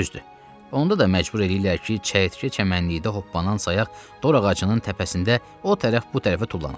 Düzdür, onda da məcbur eləyirlər ki, çəyirtkə çəmənlikdə hoppanan sayaq dor ağacının təpəsində o tərəf bu tərəfə tullanasan.